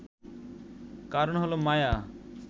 কারণ হল মায়া